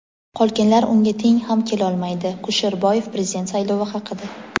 qolganlar unga teng ham kelolmaydi – Kusherboyev Prezident saylovi haqida.